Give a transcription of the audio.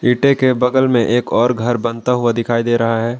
गड्ढे के बगल में एक और घर बनता हुआ दिखाई दे रहा है।